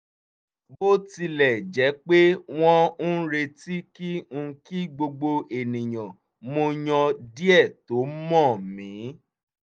bó tilẹ̀ jẹ́ pé wọ́n ń retí kí n kí gbogbo ènìyàn mo yàn díẹ̀ tó mọ̀n mi